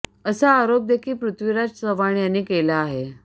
असा आरोप देखील पृथ्वीराज चव्हाण यांनी केला आहे